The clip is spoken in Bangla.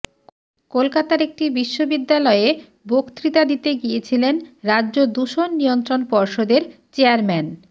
কলকাতার একটি বিশ্ববিদ্যালয়ে বক্তৃতা দিতে গিয়েছিলেন রাজ্য দূষণ নিয়ন্ত্রণ পর্ষদের চেয়ারম্যান